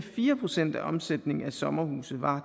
fire procent af omsætningen af sommerhuse var